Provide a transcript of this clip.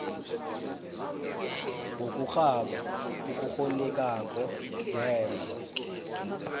ngokurhaba okukghonekako ngemva